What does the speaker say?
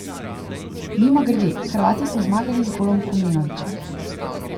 Mimogrede, Hrvati so zmagali z golom Komljenovića.